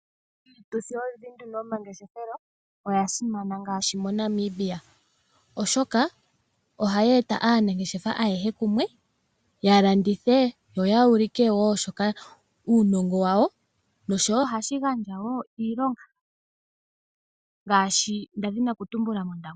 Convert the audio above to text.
Iituthi wo mbino yomangeshefelo oya simana ngaashi moNamibia, oshoka ohayi e ta aanangeshefa ayehe kumwe, ya landithe yo yuulike wo shoka uunongo wawo noshowo ohashi gandja wo iilongo ngaashi nda dhini oku tumbula mOndangwa.